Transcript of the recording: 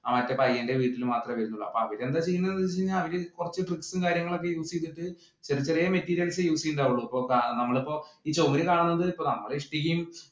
മറ്റേ പയ്യന്‍റെ വീട്ടിൽ മാത്രമേ വരുന്നുള്ളൂ. അതിൽ എന്താ ചെയ്യുന്നതെന്ന് വെച്ചുകഴിഞ്ഞാൽ അവർ കുറച്ചു switch ഉം കാര്യങ്ങളൊക്കെ use ചെയ്തിട്ട് ഇത്രയും materials use ചെയ്യുന്നുണ്ടാവുള്ളൂ. നമ്മളിപ്പം ആ ചുവരിൽ കാണുന്നത് അത് ഇഷ്ടികയും